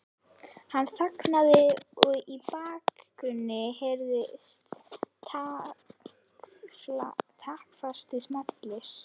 Hann þagði og í bakgrunni heyrðust taktfastir smellir.